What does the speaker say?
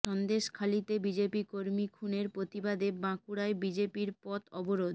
সন্দেশখালিতে BJP কর্মী খুনের প্রতিবাদে বাঁকুড়ায় বিজেপির পথ অবরোধ